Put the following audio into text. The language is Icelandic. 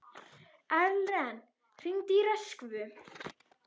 Erlen, hringdu í Röskvu.